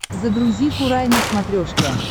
загрузи курай на смотрешке